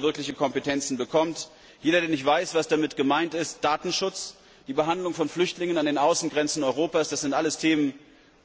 Wir wollen, dass er wirkliche Kompetenzen bekommt. Für alle, die nicht wissen, was damit gemeint ist Datenschutz, die Behandlung von Flüchtlingen an den Außengrenzen Europas das sind alles Themen,